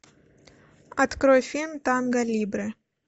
открой фильм танго либре